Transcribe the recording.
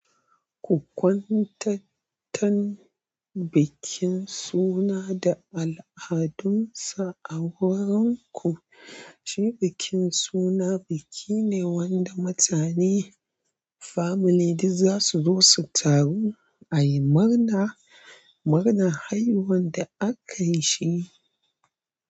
Ku kwantanantan bikin suna da al'adunsa a wuranku. Shi bikin suna biki ne wanda mutane family duk za su zo su taru a yi murna, murnan haihuwan da aka yi shi.